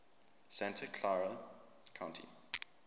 santa clara county